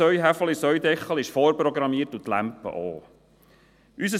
Das System «eine Hand wäscht die andere» ist vorprogrammiert und der Zoff auch.